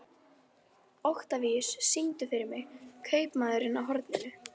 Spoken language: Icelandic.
Oktavíus, syngdu fyrir mig „Kaupmaðurinn á horninu“.